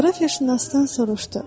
Coğrafiyaşünasdan soruşdu.